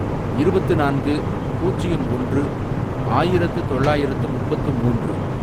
இருபத்து நான்கு, பூஜ்யம் ஒன்று, ஆயிரத்து தொள்ளாயிரத்து முப்பத்து மூன்று